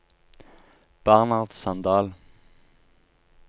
Bernhard Sandal